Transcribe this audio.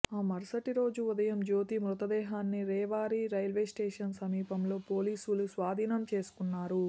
ఆ మరుసటి రోజు ఉదయం జ్యోతి మృతదేహాన్ని రేవారి రైల్వే స్టేషన్ సమీపంలో పోలీసులు స్వాధీనం చేసుకున్నారు